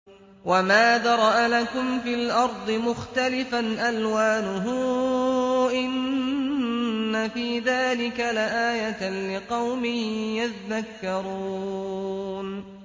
وَمَا ذَرَأَ لَكُمْ فِي الْأَرْضِ مُخْتَلِفًا أَلْوَانُهُ ۗ إِنَّ فِي ذَٰلِكَ لَآيَةً لِّقَوْمٍ يَذَّكَّرُونَ